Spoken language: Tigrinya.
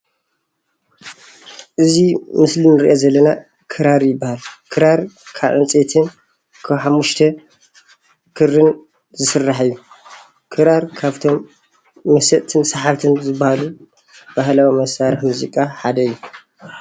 እዚ ምስሊ እንሪኦ ዘለና ክራር ይባሃል፡፡ ክራር ካብ ዕንፀይትን ካብ ሓሙሽተ ክርን ዝስራሕ እዩ፡፡ ክራር ካብቶም መሰጥትን ሰሓብት ዝባሃሉ ባህላዊ መሳርሒ ሙዚቃ ሓደ እዩ፡፡